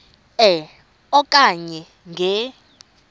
e okanye nge